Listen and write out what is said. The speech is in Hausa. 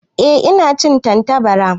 Ehh ina cin Tantabara.